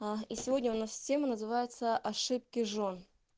а и сегодня у нас тема называется ошибки жён